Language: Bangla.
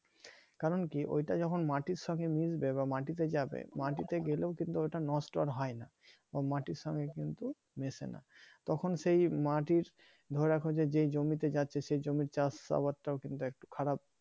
কারণ কি ওইটা যখন মাটি র সঙ্গে মিশতে বা মাটিতে যাবে মাটিতে গেলেও কিন্তু ওটা নষ্ট আর হয় না বা মাটির সঙ্গে কিন্তু মেসে না তখন সেই মাটির ধরে রাখা যে যেই জমিতে যাচ্ছে যে সে জমির চাষ আবাদটাও কিন্তু একটু খারাপ